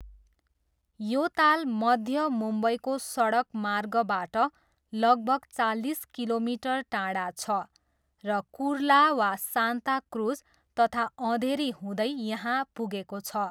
यो ताल मध्य मुम्बईको सडकमार्गबाट लगभग चालिस किलोमिटर टाढा छ र कुर्ला वा सान्ता क्रुज तथा अँधेरी हुँदै यहाँ पुगेको छ।